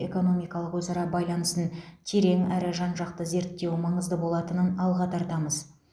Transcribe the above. экономикалық өзара байланысын терең әрі жан жақты зерттеу маңызды болатынын алға тартамыз